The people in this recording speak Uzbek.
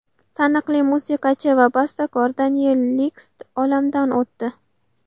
Taniqli musiqachi va bastakor Deniel Lixt olamdan o‘tdi.